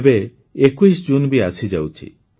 ଏବେ ୨୧ ଜୁନ୍ ବି ଆସିଯାଉଛି